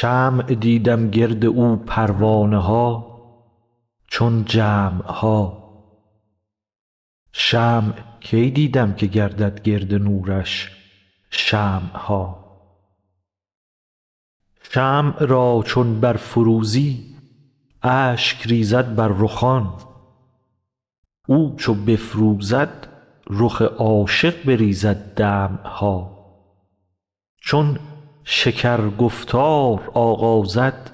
شمع دیدم گرد او پروانه ها چون جمع ها شمع کی دیدم که گردد گرد نورش شمع ها شمع را چون برفروزی اشک ریزد بر رخان او چو بفروزد رخ عاشق بریزد دمع ها چون شکر گفتار آغازد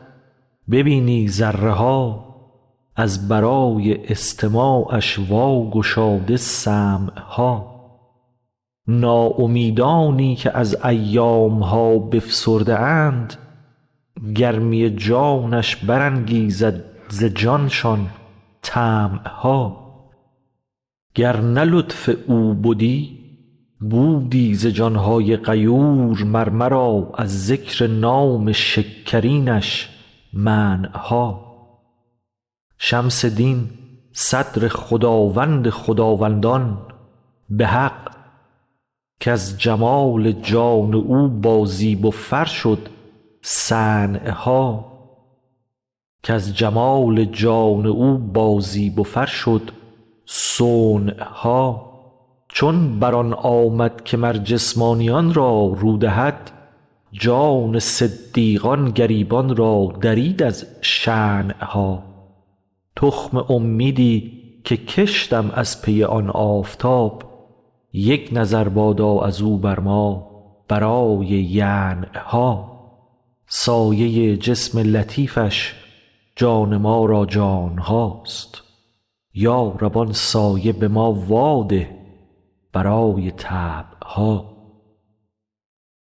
ببینی ذره ها از برای استماعش واگشاده سمع ها ناامیدانی که از ایام ها بفسرده اند گرمی جانش برانگیزد ز جانشان طمع ها گر نه لطف او بدی بودی ز جان های غیور مر مرا از ذکر نام شکرینش منع ها شمس دین صدر خداوند خداوندان به حق کز جمال جان او بازیب و فر شد صنع ها چون بر آن آمد که مر جسمانیان را رو دهد جان صدیقان گریبان را درید از شنع ها تخم امیدی که کشتم از پی آن آفتاب یک نظر بادا از او بر ما برای ینع ها سایه جسم لطیفش جان ما را جان هاست یا رب آن سایه به ما واده برای طبع ها